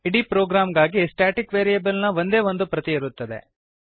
ಇಡೀ ಪ್ರೊಗ್ರಾಂಗಾಗಿ static variable ನ ಒಂದೇ ಒಂದು ಪ್ರತಿ ಇರುತ್ತದೆ